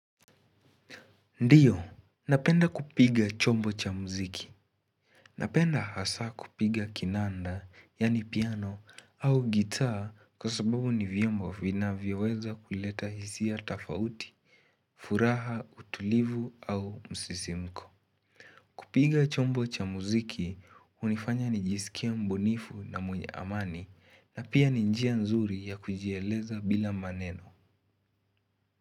Ndiyo, napenda kupiga chombo cha muziki. Napenda hasa kupiga kinanda, yani piano, au gitaa kwa sababu ni vyombo vina vyoweza kuleta hisia tafauti, furaha, utulivu au msisimko. Kupiga chombo cha muziki, hunifanya nijisikie mbunifu na mwenye amani na pia ni njia nzuri ya kujieleza bila maneno.